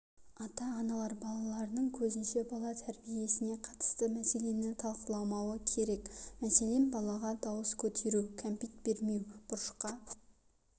ата-аналар балаларының көзінше бала тәрибесіне қатысты мәселені талқыламауы керек мәселен балаға дауыс көтеру кәмпит бермеу бұрышқа